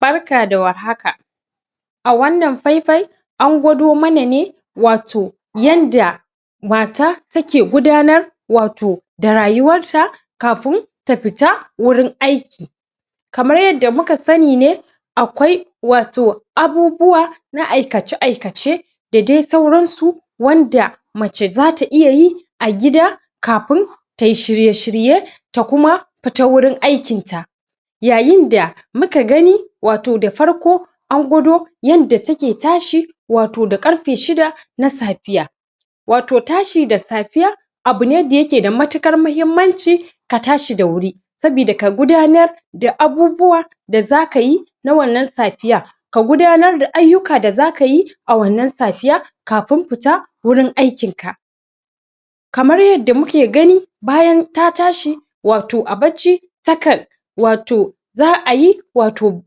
Barka da war haka! A wannan faifayi, an gwado mana ne wato yanda mata take gudanar wato da rayuwarta kafin ta fita wurin aiki. Kamar yadda muka sani ne, kawai wato abubuwa na aikace-aikace da dai sauransu wanda mace za ta iya yi a gida kafin ta yi shirye-shirye ta kuma fita wurin aikinta. Yayin da muka gani wato da farko an gwado yanda take tashi wato da ƙarfe shida na safiya. Wato tashi da safiya abu ne da yake da matuƙar muhimmanci ka tashi da wuri. Sabida ka gudanar da abubuwa da za ka yi wannan safiyan ka gudanar da ayyuka da za ka yi a wannan safiya kafin fita wurin aikinka. Kamar yadda muke gani, bayan ta tashi wato a bacci, takan, wato za a yi wato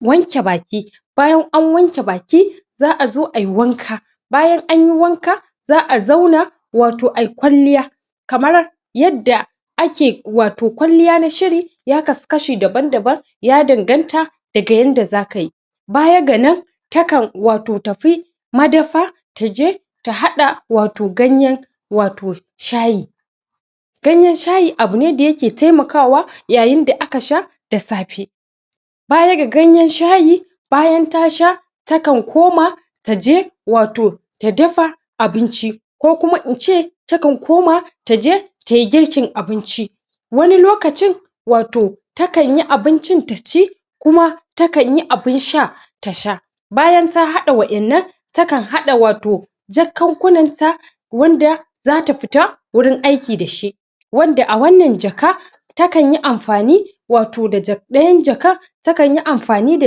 wanke baki. Bayan an wanke baki, za a zo a yi wanka Bayan an yi wanka, za a zauna wato a yi kwalliya Kamar yadda ake wato kwalliya na shiri ya kasu kashi daban-daban, ya danganta daga yanda za ka yi. Baya ga nan, takan wato tafi madafa, ta je ta haɗa wato ganyen wato shayi. Ganyen shayi abu ne da yake taimakawa yayin da aka sha da safe. Baya ga ganyen shayi, bayan ta sha, takan koma ta je wato ta dafa abinci ko kuma in ce takan koma ta je ta yi girkin abinci. Wani lokacin, wato takan yi abincin ta ci kuma takan yi abin sha ta sha Bayan ta haɗa waƴannan, takan haɗa wato jakkakunanta wanda za ta fita wurin aiki da shi wanda a wannan jaka, takan yi amfani wato da ɗayan jakan takan yi amfani da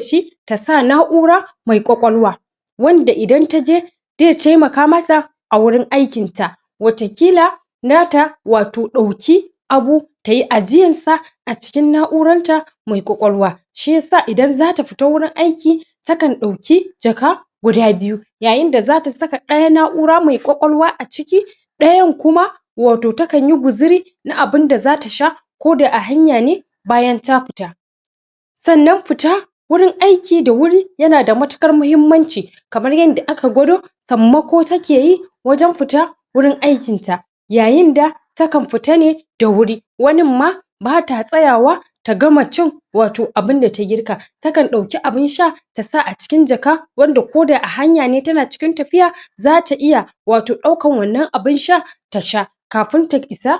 shi ta sa na'ura mai ƙwaƙwalwa wanda idan ta je zai taimaka mata a wurin aikinta, watakila nata wato ɗauki abu ta yi ajiyansa a cikin na'uranta mai ƙwaƙalwa Shi ya sa idan za ta fita wurin aiki, takan ɗauki jaka guda biyu yayin za ta saka ɗaya na'ura mai ƙwaƙwalwa a ciki ɗayan kuma wato takan yi guzuri na abin da za ta sha koda a hanya ne bayan ta fita. Sannan fita wurin aiki da wuri yana da matuƙar muhimmanci kamar yanda aka gwado, sammako take yi wajen fita wurin aikinta yayi da takan fita ne da wuri, wanin ma bata tsayawa ta gama cin wato abin da ta girka. Takan ɗauki abin sha ta sa a cikin jaka, wanda koda a hanya ne tana cikin tafiya za ta iya wato ɗaukan wannan abin shan ta sha kafin ta isa